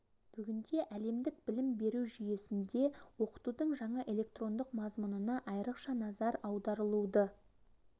бүгінде әлемдік білім беру жүйесінде оқытудың жаңа электрондық мазмұнына айырықша назар аударылуды